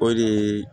O de ye